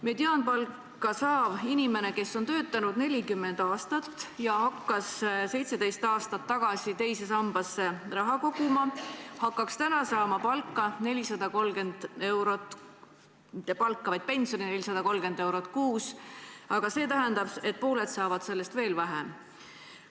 Mediaanpalka saav inimene, kes on töötanud 40 aastat ja hakkas 17 aastat tagasi teise sambasse raha koguma, hakkaks täna saama pensioni 430 eurot kuus, aga see tähendab, et pooled saavad sellest veel vähem.